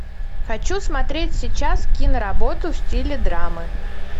хочу смотреть сейчас киноработу в стиле драмы